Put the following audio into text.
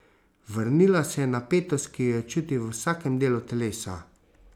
Vrnila se je napetost, ki jo je čutil v vsakem delu telesa.